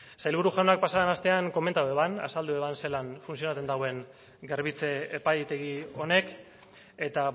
sailburu jaunak pasaden astean komentatu eban azaldu eban zalan funtzionatzen dauen garbitze epaitegi honek eta